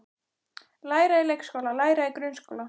Læra í leikskóla Læra í grunnskóla